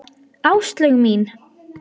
Áslaug mín!